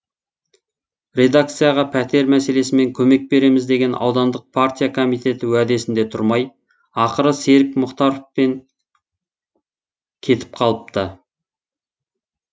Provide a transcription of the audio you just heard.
редакцияға пәтер мәселесімен көмек береміз деген аудандық партия комитеті уәдесінде тұрмай ақыры серік мұхтаровпен кетіп қалыпты